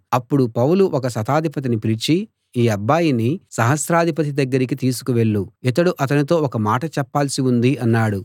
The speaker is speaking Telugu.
అప్పుడు పౌలు ఒక శతాధిపతిని పిలిచి ఈ అబ్బాయిని సహస్రాధిపతి దగ్గరకి తీసుకు వెళ్ళు ఇతడు అతనితో ఒక మాట చెప్పాల్సి ఉంది అన్నాడు